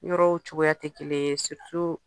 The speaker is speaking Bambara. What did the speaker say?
Yɔrɔw cogoya tɛ kelen ye